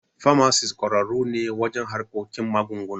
Famasis ƙwararru ne wajen harkikin magunguna.